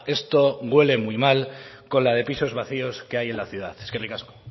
esto huele muy mal con la de pisos vacíos que hay en la ciudad eskerrik asko